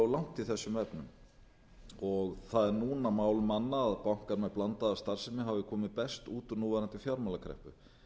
langt í þessum efnum og það er núna mál manna að bankar með blandaða starfsemi hafi komið best út úr núverandi fjármálakreppu